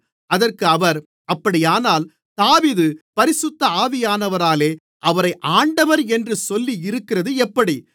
அதற்கு அவர் அப்படியானால் தாவீது பரிசுத்த ஆவியானவராலே அவரை ஆண்டவர் என்று சொல்லியிருக்கிறது எப்படி